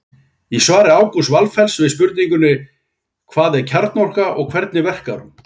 Í svari Ágústs Valfells við spurningunni Hvað er kjarnorka og hvernig verkar hún?